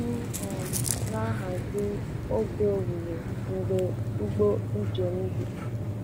M um na-ahazi oge owuwe mgbe ụgbọ njem dị.